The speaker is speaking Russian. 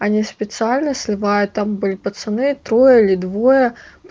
они специально сливают там были пацаны трое или двое